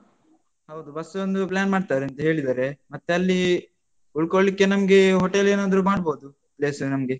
ಹೌದು ಬಸ್ಸೊಂದು plan ಮಾಡ್ತಾರಂತೆ ಹೇಳಿದರೆ. ಮತ್ತೆ ಅಲ್ಲೀ ಉಳ್ಕೊಳ್ಲಿಕ್ಕೆ, ನಮ್ಗೆ hotel ಏನಾದ್ರು ಮಾಡ್ಬೋದು, place ನಮ್ಗೆ.